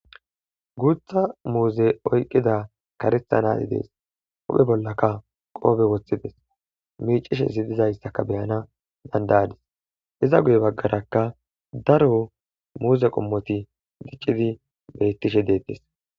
Guutha muuzeti oyqida karetha na'ay de'es huuphe bolaka qophe wothides miicishe dizaysaka be'anawu danda'ays iza guye bagaraka daro muuze qomoti dicidi beetishe de'etes.